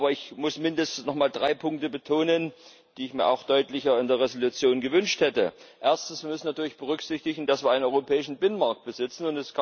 Aber ich muss mindestens nochmal drei Punkte betonen, die ich mir auch deutlicher in der Entschließung gewünscht hätte Erstens müssen wir natürlich berücksichtigen, dass wir einen europäischen Binnenmarkt besitzen.